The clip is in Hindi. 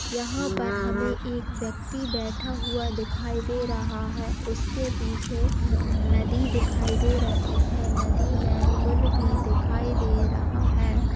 यहाँ पर हमें एक व्यक्ति बैठा हुआ दिखाई दे रहा है| उसके पीछे नदी दिखाई दे रही है नदी में पुल भी दिखाई दे रहा है।